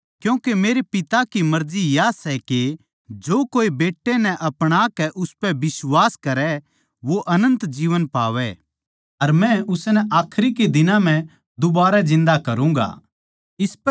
क्यूँके मेरै पिता की मर्जी या सै के जो कोए बेट्टै नै अपणा कै उसपै बिश्वास करै वो अनन्त जीवन पावै अर मै उसनै आखरी के दिनां म्ह दुबारै जिन्दा करूँगा